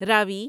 راوی